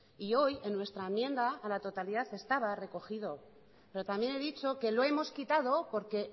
y hoy en nuestra enmienda a la totalidad estaba recogido pero también he dicho que lo hemos quitado porque